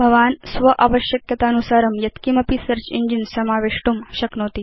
भवान् स्व आवश्यकतानुसारं यत्किमपि सेऽर्च इञ्जिन समावेष्टुं शक्नोति